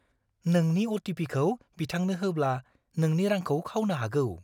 नोंनि अ.टि.पि.खौ बिथांनो होब्ला नोंनि रांखौ खावनो हागौ!